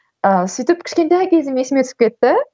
ыыы сөйтіп кішкентай кезім есіме түсіп кетті